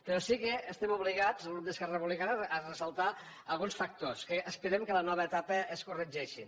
però sí que estem obligats el grup d’esquerra republicana a ressaltar alguns factors que esperem que a la nova etapa es corregeixin